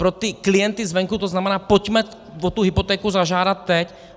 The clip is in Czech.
Pro ty klienty zvenku to znamená: pojďme o tu hypotéku zažádat teď.